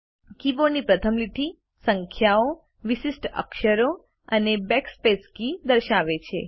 કીબોર્ડની પ્રથમ લીટી સંખ્યાઓ વિશિષ્ટ અક્ષરો અને બેકસ્પેસ કી દર્શાવે છે